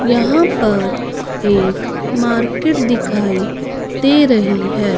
यहां पर एक मार्केट दिखाई दे रही है।